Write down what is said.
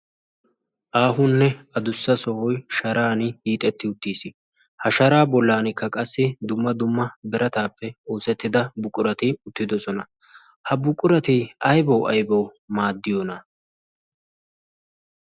aahunne adussa sohoy sharan hiixetti uttiis ha shara bollankka qassi dumma dumma berataappe oosettida buqurati uttidosona ha buqurati aybaw aybaw maaddiyoona